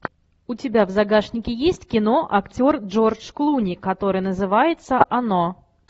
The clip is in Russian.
у тебя в загашнике есть кино актер джордж клуни которое называется оно